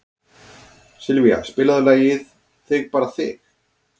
Sylvía, spilaðu lagið „Þig bara þig“.